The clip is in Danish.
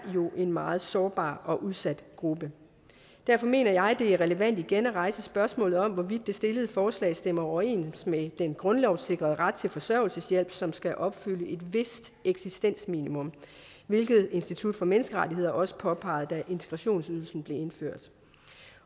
jo er en meget sårbar og udsat gruppe derfor mener jeg det er relevant igen at rejse spørgsmålet om hvorvidt det stillede forslag stemmer overens med den grundlovssikrede ret til forsørgelseshjælp som skal opfylde et vist eksistensminimum hvilket institut for menneskerettigheder også påpegede da integrationsydelsen blev indført